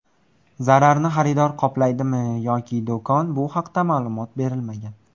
Zararni xaridor qoplaydimi yoki do‘kon bu haqda ma’lumot berilmagan.